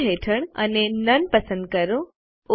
fill હેઠળ અને નોને પસંદ કરો